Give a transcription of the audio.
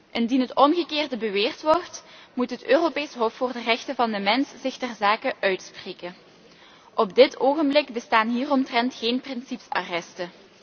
Indien het omgekeerde beweerd wordt moet het Europees Hof voor de Rechten van de mens zich ter zake uitspreken. Op dit ogenblik bestaan hieromtrent geen principe arresten.